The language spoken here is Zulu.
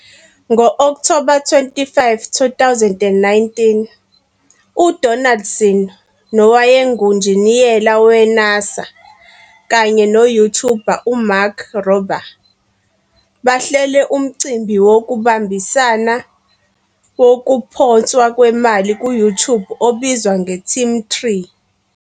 Ngo-Okthoba 25, 2019, uDonaldson nowayengunjiniyela we-NASA kanye no-YouTuber uMark Rober bahlele umcimbi wokubambisana wokuphonswa kwemali ku-YouTube obizwa nge-TeamTree.